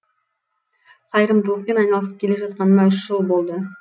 қайырымдылықпен айналысып келе жатқаныма үш жыл болды